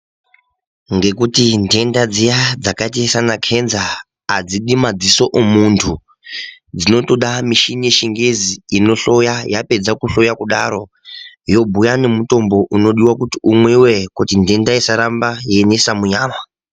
Ngekuti nhenda dziya dzakaita seana kenza adzidi madziso emuntu, dzinotoda mishini yechigezi inohloya, yapedza kuhloya kudaro yobhuya nemutombo unodiwa kuti umwiwe kuti nhenda isaramba yeinesa munyama.